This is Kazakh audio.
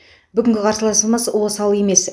бүгінгі қарсыласымыз осал емес